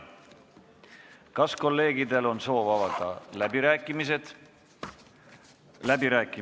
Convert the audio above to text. Kas kolleegidel on soovi pidada läbirääkimisi?